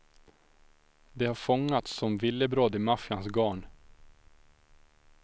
De har fångats som villebråd i maffians garn.